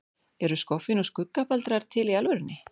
Eru skoffín og skuggabaldrar til í alvörunni?